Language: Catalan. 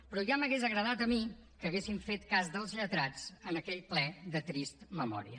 però ja m’hauria agradat a mi que haguessin fet cas dels lletrats en aquell ple de trista memòria